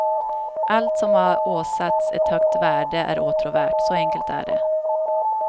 Allt som har åsatts ett högt värde är åtråvärt, så enkelt är det.